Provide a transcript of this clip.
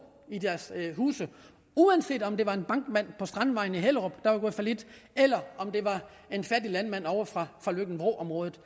i deres huse uanset om det var en bankmand på strandvejen i hellerup der var gået fallit eller om det var en fattig landmand ovre fra løkken vrå området